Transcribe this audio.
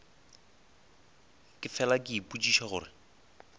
ke fela ke ipotšiša gore